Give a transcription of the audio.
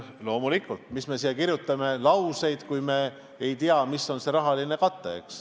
Loomulikult me ei saa seda kirja panna, kui me ei tea, mis oleks selle rahaline kate.